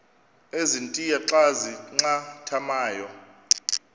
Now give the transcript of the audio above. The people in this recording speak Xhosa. ezintia xa zincathamayo